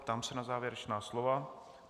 Ptám se na závěrečná slova.